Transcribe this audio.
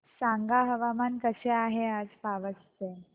सांगा हवामान कसे आहे आज पावस चे